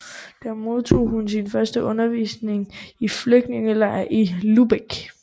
Der modtog hun sin første undervisning i en flygtningelejr i Lübeck